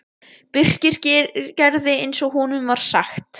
Birkir gerði eins og honum var sagt.